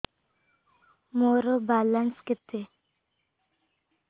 ମୋର ବାଲାନ୍ସ କେତେ